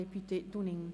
Ja, das möchte sie.